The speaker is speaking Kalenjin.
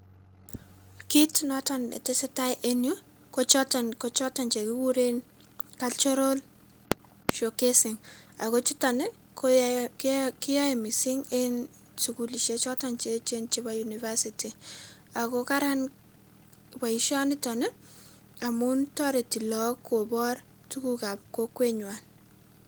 Kiiy notoon ne tesetai en Yuu ko chotoon chekureen [cultural showcasing] ago chutoon ii keyae en sugulisheek chotoon cheecheen chebo [University] ago karaan boishanitoon amuun taretii lagook kobaar tuguuk ab kokweet nywan.